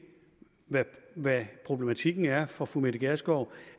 hvad problematikken er for fru mette gjerskov